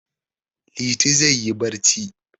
Liti zai yi barci.